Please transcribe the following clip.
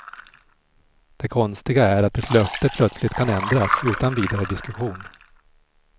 Det konstiga är att ett löfte plötsligt kan ändras, utan vidare diskussion.